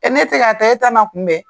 ne tɛ ka ta e ta na kunbɛ?